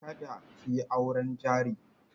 Kada ki yi auren jari.